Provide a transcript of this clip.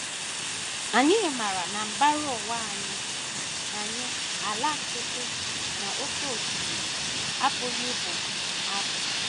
Anyị maara na mbara ụwa anyị anyị ala nkịtị na oké osimiri apụghị ịbụ abụ.